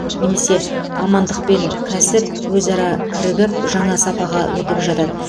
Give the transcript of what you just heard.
немесе мамандық пен кәсіп өзара кірігіп жаңа сапаға өтіп жатады